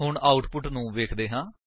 ਹੁਣ ਆਉਟਪੁਟ ਨੂੰ ਵੇਖਦੇ ਹਾਂ